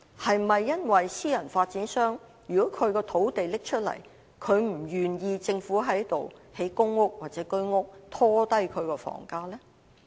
是否私人發展商把土地拿出來時，他們不願意政府在該處興建公屋或居屋，以免拖低樓價？